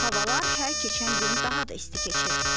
Havalar hər keçən gün daha da isti keçir.